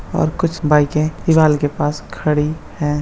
और कुछ बाइके दीवाल के पास खड़ी है।